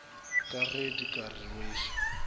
ka ge di ka rweša